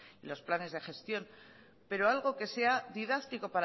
los planes de gestión pero algo que sea didáctico